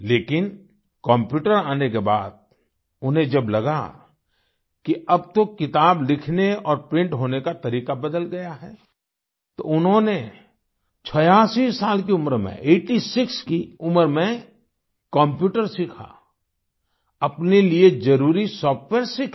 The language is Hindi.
लेकिनकम्प्यूटर आने के बाद उन्हें जब लगा कि अब तो किताब लिखने और प्रिंट होने का तरीका बदल गया है तो उन्होंने 86 साल की उम्र में आइटी सिक्स की उम्र में कम्प्यूटर सीखा अपने लिए जरुरी सॉफ्टवेयर सीखे